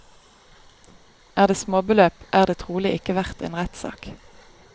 Er det småbeløp, er det trolig ikke verdt en rettssak.